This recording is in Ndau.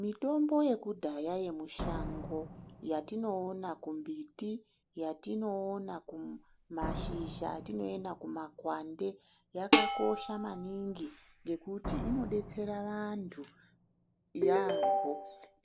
Mithombo yekudhaya yemushango yatinoona kumbiti, yatinoona kumashizha, yatinoona kumakwande yakakosha maningi ngukuti inodetsera vanthu yaampho.